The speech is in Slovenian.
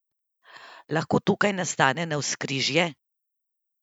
Lahko tukaj nastane navzkrižje?